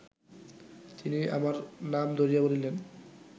তিনি আমার নাম ধরিয়া বলিলেন